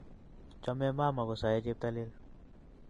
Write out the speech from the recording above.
Chome mama kosae cheptailel